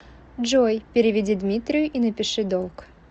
джой переведи дмитрию и напиши долг